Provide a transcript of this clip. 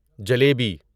jalebi